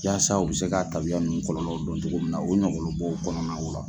Yaasa u bɛ se k'a tabiya ninnu kɔlɔ don cogo min na, u ɲɔgɔnlɔw kɔnɔna la.